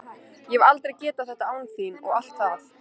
Ég hefði aldrei getað þetta án þín og allt það.